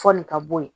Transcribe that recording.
Fɔli ka bɔ yen